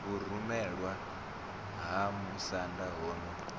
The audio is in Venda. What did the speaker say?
vhurumelwa ha musanda ho no